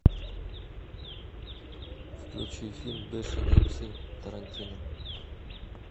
включи фильм бешеные псы тарантино